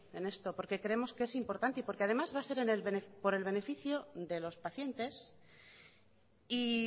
en esto porque creemos que es importante y porque además va a ser por el beneficio de los pacientes y